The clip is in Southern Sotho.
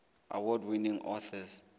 award winning authors